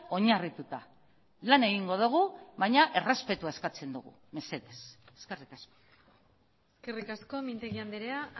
oinarrituta lan egingo dugu baina errespetua eskatzen dugu mesedez eskerrik asko eskerrik asko mintegi andrea